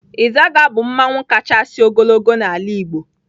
Izaga bu mmanwụ kacha ogologo n'ala igbo.